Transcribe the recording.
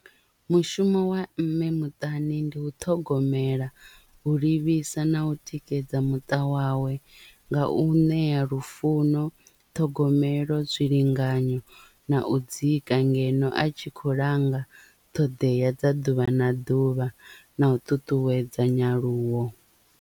Mushumo wa mme muṱani ndi u ṱhogomela u livhisa na u tikedza muṱa wawe nga u ṋea lufuno, ṱhogomelo, zwilinganyo na u dzika ngeno a tshi kho langa ṱhoḓea dza ḓuvha na ḓuvha na u ṱuṱuwedza nyaluwo.